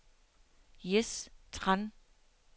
Jes Tran